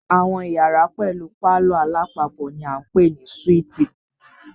Àwọn iyàrá pẹlú palọ̀ alápapọ̀ ni a ń pè ní súítì.